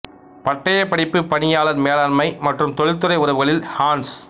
பட்டையப் படிப்பு பணியாளர் மேலாண்மை மற்றும் தொழில்துறை உறவுகளில் ஹான்ஸ்